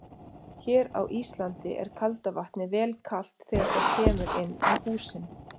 Hér á Íslandi er kalda vatnið vel kalt þegar það kemur inn í húsin.